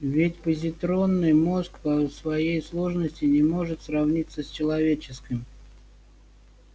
ведь позитронный мозг по своей сложности не может сравниться с человеческим